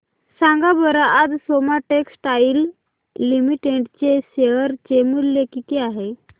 सांगा बरं आज सोमा टेक्सटाइल लिमिटेड चे शेअर चे मूल्य किती आहे